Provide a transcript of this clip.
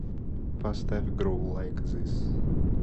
поставь гроу лайк зис